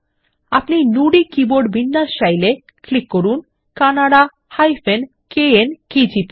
আপনি নুদি কীবোর্ড বিন্যাস চাইলে ক্লিক করুন কান্নাডা কেএন কেজিপি